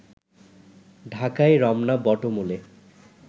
ঢাকায় রমনা বটমূলে